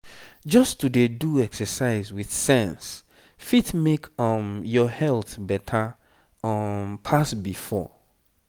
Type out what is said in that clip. just to dey do exercise with sense fit make um your health better um pass before.